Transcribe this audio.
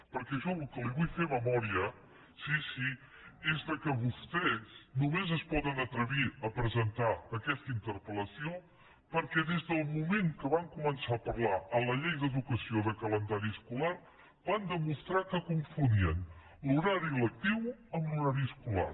perquè jo li vull fer memòria sí sí que vostès només es poden atrevir a presentar aquesta interpel·lació perquè des del moment que van començar a parlar a la llei d’educació de calendari escolar van demostrar que confonien l’horari lectiu amb l’horari escolar